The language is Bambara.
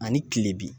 Ani kilebin